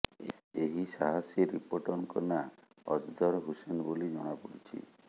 ଏହି ସାହସୀ ରିପୋର୍ଟରଙ୍କ ନାଁ ଅଜଦର୍ ହୁସେନ୍ ବୋଲି ଜଣାପଡିଛି